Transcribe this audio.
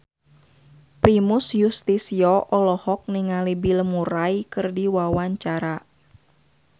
Primus Yustisio olohok ningali Bill Murray keur diwawancara